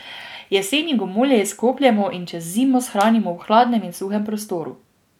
Jeseni gomolje izkopljemo in čez zimo shranimo v hladnem in suhem prostoru.